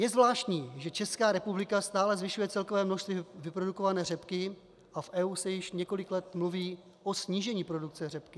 Je zvláštní, že Česká republika stále zvyšuje celkové množství vyprodukované řepky a v EU se již několik let mluví o snížení produkce řepky.